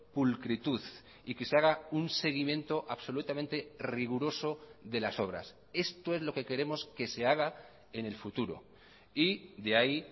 pulcritud y que se haga un seguimiento absolutamente riguroso de las obras esto es lo que queremos que se haga en el futuro y de ahí